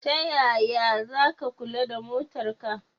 Tayaya zaka kula da motar ka?